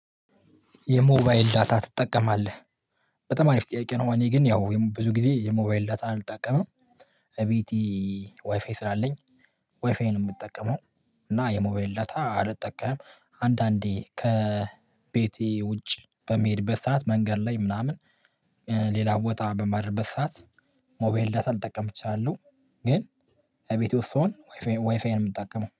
የሞባይል ዳታ ትጠቀማለህ? በጣም አሪፍ ጥያቄ ነው። እኔ ግን ያው ብዙ ጊዜ የሞባይል ዳታ አልጠቀምም። እቤቴ ዋይፋይ ስላለኝ ዋይፋይ ነው የምጠቀመው። እና የሞባይል ዳታ አልጠቀምም አንዳንዴ ከቤቴ ውጭ በምሄድበት በሰአት መንገድ ላይ ምናምን ሌላ ቦታ በማድርበት ሰዓት ሞባይል ዳታ ልጠቀም እችላለሁ። ግን እቤቴ ውስጥ ስሆን ዋይፋይ የምጠቀመው